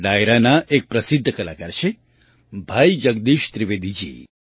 આ ડાયરાના એક પ્રસિદ્ધ કલાકાર છે ભાઈ જગદીશ ત્રિવેદીજી